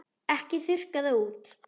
Ekki þurrka það út.